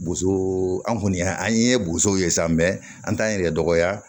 Bosoo an kɔni an ye bosow ye sa an t'an yɛrɛ dɔgɔya